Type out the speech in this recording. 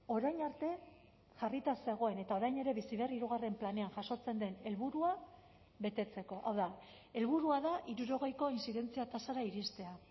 orain arte jarrita zegoen eta orain ere bizi berri hirugarren planean jasotzen den helburua betetzeko hau da helburua da hirurogeiko intzidentzia tasara iristea